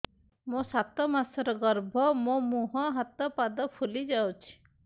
ମୋ ସାତ ମାସର ଗର୍ଭ ମୋ ମୁହଁ ହାତ ପାଦ ଫୁଲି ଯାଉଛି